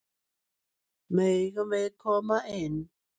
Megum við koma inn?